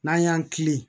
N'an y'an kilen